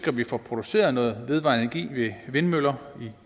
at vi får produceret noget vedvarende energi vindmøller